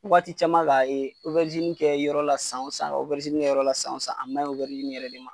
Waati caman ka yen kɛ yɔrɔ la san wo san kɛ yɔrɔ la san wo san a man ɲi yɛrɛ de ma.